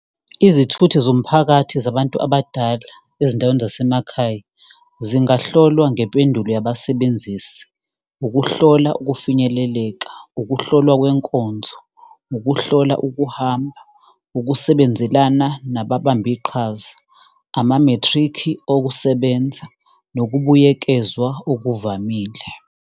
Izithuthi zomphakathi zabantu abadala, ezindaweni zasemakhaya zingahlolwa ngempendulo yabasebenzisi. Ukuhlola ukufinyeleleka, ukuhlolwa kwenkonzo, ukuhlola ukuhamba, ukusebenzelana nababambiqhaza ama-matric okusebenza, nokubuyekezwa okuvamile.